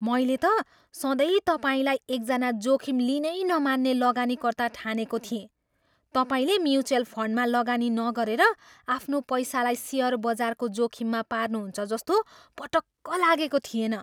मैले त सधैँ तपाईँलाई एकजना जोखिम लिनै नमान्ने लगानीकर्ता ठानेको थिएँ। तपाईँले म्युचुअल फन्डमा लगानी नगरेर आफ्नो पैसालाई सेयर बजारको जोखिममा पार्नुहुन्छ जस्तो पटक्क लागेको थिएन।